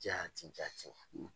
Jati jati